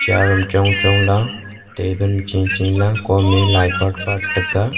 aram chong chong la taben ma cheche la kom me lai patpat tega.